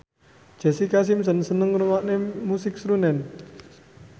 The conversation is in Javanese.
Jessica Simpson seneng ngrungokne musik srunen